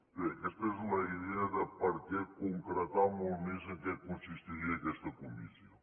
bé aquesta és la idea de per què concretar molt més en què consistiria aquesta comissió